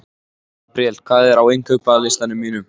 Gabríel, hvað er á innkaupalistanum mínum?